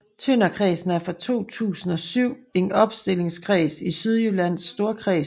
Tønderkredsen er fra 2007 en opstillingskreds i Sydjyllands Storkreds